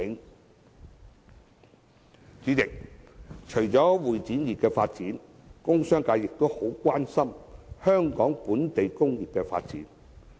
代理主席，除了會展業的發展，工商界亦很關心香港本地工業的發展。